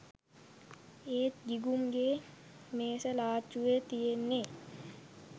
ඒත් ගිගුම්ගෙ මේස ලාච්චුවෙ තියෙන්නෙ